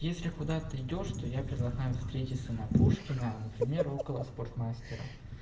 если куда-то идёшь то я предлагаю встретиться на пушкина например около спортмастера